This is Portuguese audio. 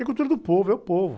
É cultura do povo, é o povo.